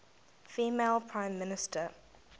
female prime minister